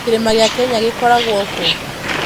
Kĩrĩma gĩa Kenya gĩkoragwo kũũ?